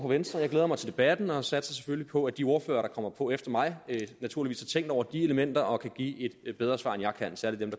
venstre jeg glæder mig til debatten og satser selvfølgelig på at de ordførere der kommer på efter mig har tænkt over de elementer og kan give et bedre svar end jeg kan særlig dem